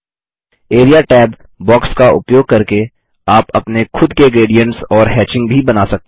area tab box का उपयोग करके आप अपने खुद के ग्रेडियन्ट्स और हेचिंग भी बना सकते हैं